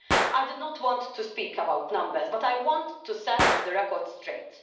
I did not want to speak about numbers, but I want to set the record straight.